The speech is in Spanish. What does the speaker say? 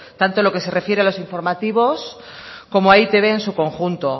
tanto en lo que se refiere a los informativos como a e i te be en su conjunto